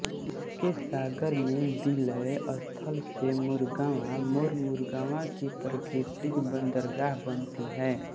इसके सागर में विलय स्थल से मुरगांव मोरमुरगांव की प्राकृतिक बंदरगाह बनती है